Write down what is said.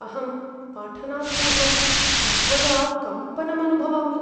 अहं पाठनात्पूर्वं सर्वदा कम्पनम् अनुभवामि।